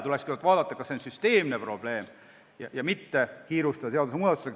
Tuleks kõigepealt vaadata, kas see on süsteemne probleem, ja mitte seadusemuudatusega kiirustada.